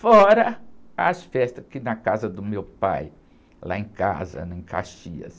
Fora as festas, que, na casa do meu pai, lá em casa, né? Em Caxias.